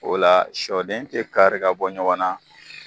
O la sɔden te kari ka bɔ ɲɔgɔn na